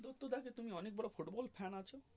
দত্তদা তুমি অনেক বড়ো football fan আছো.